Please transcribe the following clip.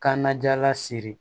Kanna jala siri